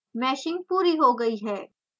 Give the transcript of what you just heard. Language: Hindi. मैशिंग पूरी हो गयी है